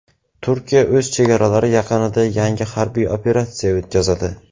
Turkiya o‘z chegaralari yaqinida yangi harbiy operatsiya o‘tkazadi.